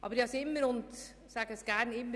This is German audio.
Aber ich sage immer: